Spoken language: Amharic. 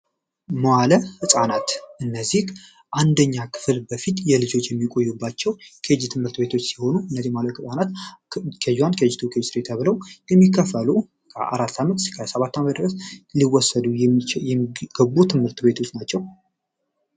መዋለ ጻናት እነዚህ አንደኛ ክፍል በፊት የልጆች የሚቆዩባቸው ሲሆኑ ከአራት ዓመት እስከ ሰባት ሊወሰዱ የሚገቡ ትምህርት ቤቶች ናቸው